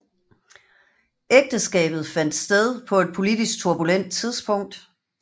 Ægteskabet fandt sted på et politisk turbulent tidspunkt